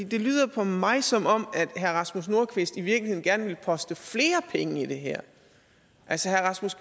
det lyder for mig som om herre rasmus nordqvist i virkeligheden gerne vil poste flere penge i det her altså herre rasmus